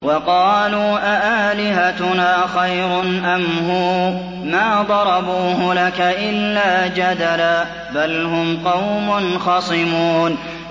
وَقَالُوا أَآلِهَتُنَا خَيْرٌ أَمْ هُوَ ۚ مَا ضَرَبُوهُ لَكَ إِلَّا جَدَلًا ۚ بَلْ هُمْ قَوْمٌ خَصِمُونَ